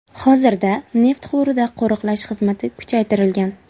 Hozirda neft quvurida qo‘riqlash xizmati kuchaytirilgan.